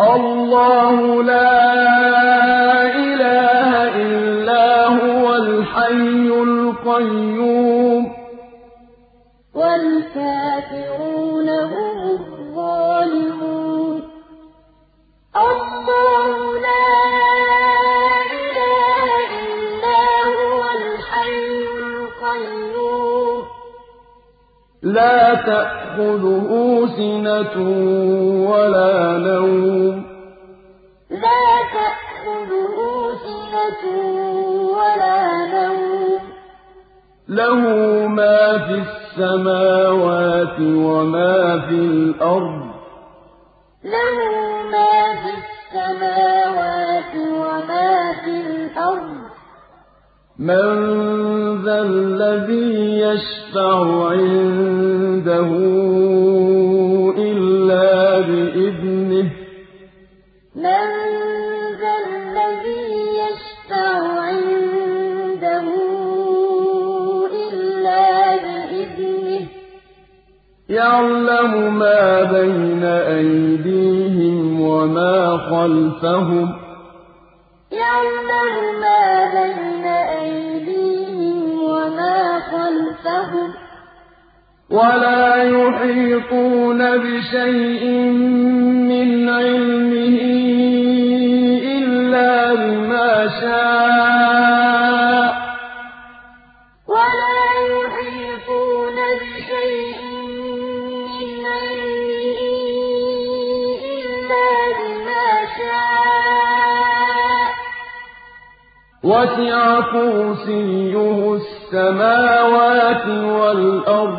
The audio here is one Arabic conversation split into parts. اللَّهُ لَا إِلَٰهَ إِلَّا هُوَ الْحَيُّ الْقَيُّومُ ۚ لَا تَأْخُذُهُ سِنَةٌ وَلَا نَوْمٌ ۚ لَّهُ مَا فِي السَّمَاوَاتِ وَمَا فِي الْأَرْضِ ۗ مَن ذَا الَّذِي يَشْفَعُ عِندَهُ إِلَّا بِإِذْنِهِ ۚ يَعْلَمُ مَا بَيْنَ أَيْدِيهِمْ وَمَا خَلْفَهُمْ ۖ وَلَا يُحِيطُونَ بِشَيْءٍ مِّنْ عِلْمِهِ إِلَّا بِمَا شَاءَ ۚ وَسِعَ كُرْسِيُّهُ السَّمَاوَاتِ وَالْأَرْضَ ۖ وَلَا يَئُودُهُ حِفْظُهُمَا ۚ وَهُوَ الْعَلِيُّ الْعَظِيمُ اللَّهُ لَا إِلَٰهَ إِلَّا هُوَ الْحَيُّ الْقَيُّومُ ۚ لَا تَأْخُذُهُ سِنَةٌ وَلَا نَوْمٌ ۚ لَّهُ مَا فِي السَّمَاوَاتِ وَمَا فِي الْأَرْضِ ۗ مَن ذَا الَّذِي يَشْفَعُ عِندَهُ إِلَّا بِإِذْنِهِ ۚ يَعْلَمُ مَا بَيْنَ أَيْدِيهِمْ وَمَا خَلْفَهُمْ ۖ وَلَا يُحِيطُونَ بِشَيْءٍ مِّنْ عِلْمِهِ إِلَّا بِمَا شَاءَ ۚ وَسِعَ كُرْسِيُّهُ السَّمَاوَاتِ وَالْأَرْضَ ۖ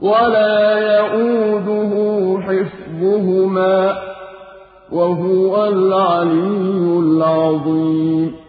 وَلَا يَئُودُهُ حِفْظُهُمَا ۚ وَهُوَ الْعَلِيُّ الْعَظِيمُ